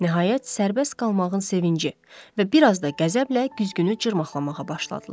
Nəhayət, sərbəst qalmağın sevinci və bir az da qəzəblə güzgünü cırmaqlamağa başladılar.